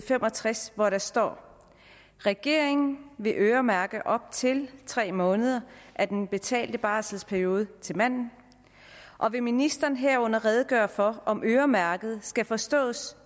fem og tres hvor der står at regeringen vil øremærke op til tre måneder af den betalte barselsperiode til manden og vil ministeren herunder redegøre for om øremærke skal forstås